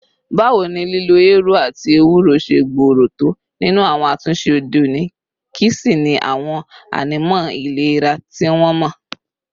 Báwo ni lílo eérú àti éwurò ṣe gbòòrò tó nínú àwọn àtúnṣe òde òní, kí sì ni àwọn ànímọ́ ìlera tí wọ́n mọ̀?